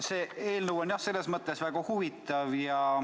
See eelnõu on jah selles mõttes väga huvitav.